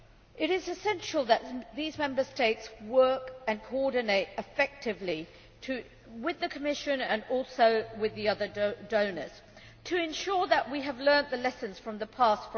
It is essential that these Member States work and coordinate effectively, with the Commission and also with the other donors, to ensure that we have learnt the lessons from the past